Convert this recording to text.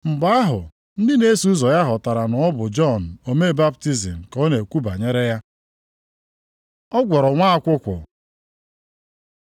Mgbe ahụ ndị na-eso ụzọ ya ghọtara na ọ bụ Jọn omee baptizim ka ọ na-ekwu banyere ya. Ọ gwọrọ nwa akwụkwụ